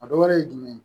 A dɔ wɛrɛ ye jumɛn ye